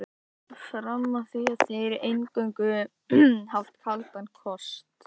Fram að því hafa þeir eingöngu haft kaldan kost.